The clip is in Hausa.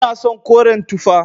Ina son koren tufa.